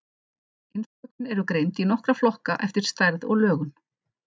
Innskotin eru greind í nokkra flokka eftir stærð og lögun.